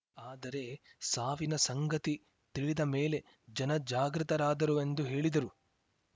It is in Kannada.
ಆದರೆ ಸಾವಿನ ಸಂಗತಿ ತಿಳಿದ ಮೇಲೆ ಜನ ಜಾಗೃತರಾದರು ಎಂದು ಹೇಳಿದರು